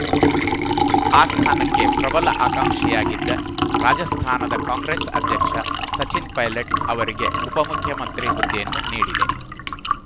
ಆ ಸ್ಥಾನಕ್ಕೆ ಪ್ರಬಲ ಆಕಾಂಕ್ಷಿಯಾಗಿದ್ದ ರಾಜಸ್ಥಾನದ ಕಾಂಗ್ರೆಸ್‌ ಅಧ್ಯಕ್ಷ ಸಚಿನ್‌ ಪೈಲಟ್‌ ಅವರಿಗೆ ಉಪಮುಖ್ಯಮಂತ್ರಿ ಹುದ್ದೆಯನ್ನು ನೀಡಿದೆ